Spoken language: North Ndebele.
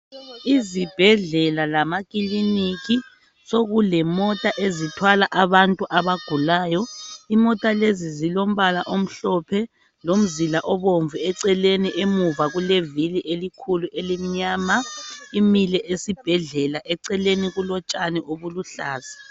Izibhedlela lamakiliniki sokulemota ezithwala abantu abagulayo imota lezi zilombala omhlophe lomzila obomvu eceleni emuva kulevili elikhulu elimnyama imile esibhedlela eceleni kulotshani obuluhlaza.